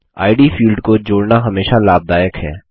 इद field को जोड़ना हमेशा लाभदायक है